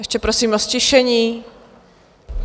Ještě prosím o ztišení.